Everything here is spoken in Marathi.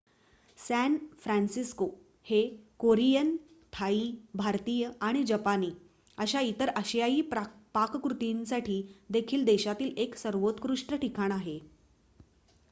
सॅन फ्रान्सिस्को हे कोरियन थाई भारतीय आणि जपानी अशा इतर आशियाई पाककृतींसाठी देखील देशातील 1 सर्वोत्कृष्ट ठिकाण आहे